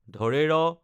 ঢ়